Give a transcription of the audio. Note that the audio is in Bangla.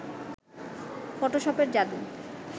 ফটোশপের যাদু